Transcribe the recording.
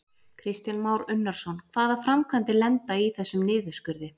Kristján Már Unnarsson: Hvaða framkvæmdir lenda í þessum niðurskurði?